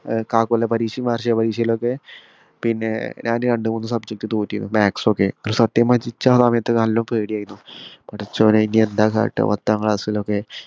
ഏർ കാകൊല്ലപ്പരീക്ഷയും വാർഷിക പരീക്ഷയിലൊക്കെ പിന്നെ ഞാൻ രണ്ട് മൂന്ന് subject തോറ്റിന് maths ഒക്കെ സത്യം പറഞ്ഞ നിച്ചാ സമയത്ത് നല്ല പേടി ആയിരുന്നു പടച്ചോനേ എനീ എന്ത കാട്ടുവാ പത്താം ക്ലാസ്സിലൊക്കെ